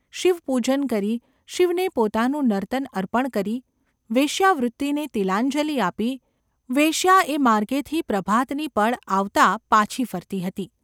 શિવપૂજન કરી, શિવને પોતાનું નર્તન અર્પણ કરી, વેશ્યાવૃત્તિને તિલાંજલિ આપી, વેશ્યા એ માર્ગેથી પ્રભાતની પળ આવતાં પાછી ફરતી હતી.